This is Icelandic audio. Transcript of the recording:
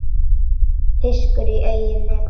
Fiskur í eigin neti.